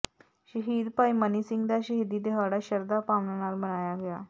ਸ਼ਹੀਦ ਭਾਈ ਮਨੀ ਸਿੰਘ ਦਾ ਸ਼ਹੀਦੀ ਦਿਹਾੜਾ ਸ਼ਰਧਾ ਭਾਵਨਾ ਨਾਲ ਮਨਾਇਆ ਗਿਆ